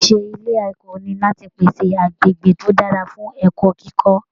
Iṣẹ ilé ẹ̀kọ́ ní láti pèsè agbègbè to dára fún ẹ̀kọ́ kíkọ.